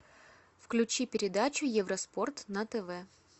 включи передачу евроспорт на тв